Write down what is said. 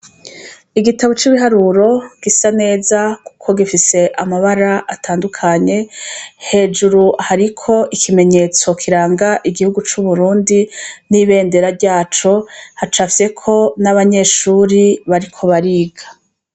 Igitabo c'ibiharuro gisa neza, kuko gifise amabara atandukanye, hejuru hariko ikimenyetso kiranga igihugu c'u Burundi n'ibendera ryaco, hacafyeko n'abanyeshure bariko bariga.